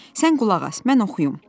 Sən qulaq as, mən oxuyum.